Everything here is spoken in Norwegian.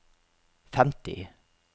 femti